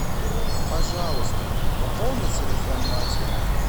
пожалуйста пополни телефон матери